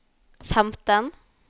femten